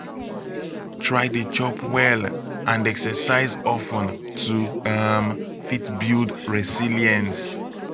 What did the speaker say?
try de chop well and exercise of ten to um fit build resilience